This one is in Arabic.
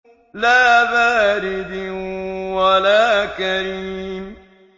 لَّا بَارِدٍ وَلَا كَرِيمٍ